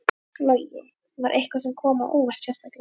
Logi: Var eitthvað sem kom á óvart sérstaklega?